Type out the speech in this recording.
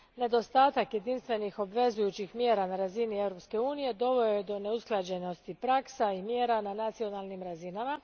Nedostatak obvezujućih jedinstvenih mjera na razini Europske unije doveo je do neusklađenosti praksa i mjera na nacionalnim razinama.